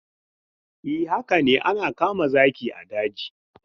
E, haka ne ana kama zaki a daji.